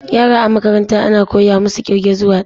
Yara a makaranta ana koya musu ƙirge zuwa dari